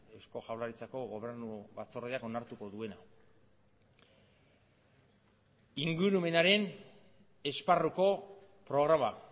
eusko jaurlaritzako gobernu batzordeak onartuko duena ingurumenaren esparruko programa